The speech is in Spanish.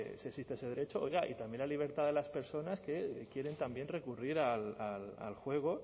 se exista ese derecho oiga y también la libertad de las personas que quieren también recurrir al juego